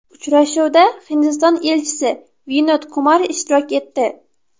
Uchrashuvda Hindiston Elchisi Vinod Kumar ishtirok etdi.